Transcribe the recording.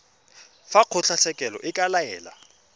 fa kgotlatshekelo e ka laela